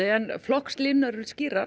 flokkslínur eru skýrar